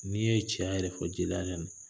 N'i' ye cɛya yɛrɛ fɔ jeliya de do